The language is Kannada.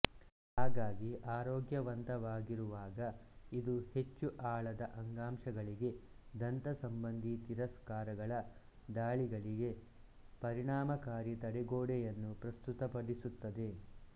ಹಾಗಾಗಿ ಆರೋಗ್ಯವಂತವಾಗಿರುವಾಗ ಇದು ಹೆಚ್ಚು ಆಳದ ಅಂಗಾಂಶಗಳಿಗೆ ದಂತ ಸಂಬಂಧಿ ತಿರಸ್ಕಾರಗಳ ದಾಳಿಗಳಿಗೆ ಪರಿಣಾಮಕಾರಿ ತಡೆಗೋಡೆಯನ್ನು ಪ್ರಸ್ತುತಪಡಿಸುತ್ತದೆ